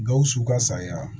Gawusu ka sariya